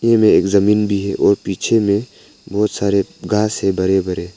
में एक जमीन भी है और पीछे में बहोत सारे घास है बड़े बड़े।